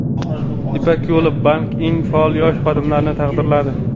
"Ipak yo‘li" banki eng faol yosh xodimlarini taqdirladi.